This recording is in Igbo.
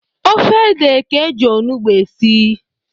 Ofe ede ka-eji onugbu esi.